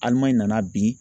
Alimaɲi nana bin